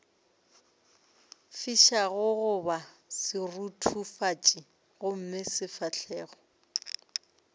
fišago goba seruthufatši gomme sefahlogo